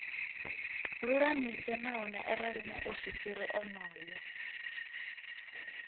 lulamise nahone arali muofisiri onoyo